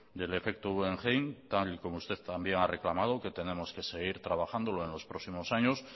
del efecto guggenheim tal como usted también ha reclamado que tenemos que seguir trabajándolo en los próximos años